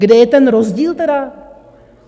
Kde je ten rozdíl tedy?